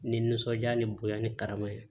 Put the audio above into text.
Ni nisɔndiya ni bonya ni karama ye